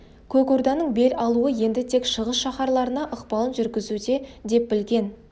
көк орданың бел алуы енді тек шығыс шаһарларына ықпалын жүргізуде деп білген